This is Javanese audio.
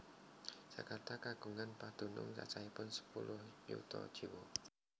Jakarta kagungan padunung cacahipun sepuluh yuta jiwa